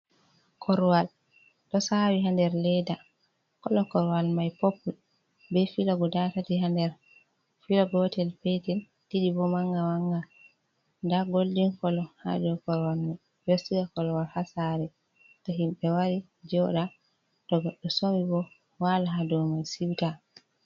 Korwal ɗo sawi ha nder leda, kolo korwal mai poppul be filo guda tati ha nder filo gotel petel ɗiɗi bo manga manga, nda goldin kolo ha dow korwal mai, ɓe ɗo siga korwal ha sare to himɓe wari joɗa, to goddo somi bo wala ha dow mai siuta.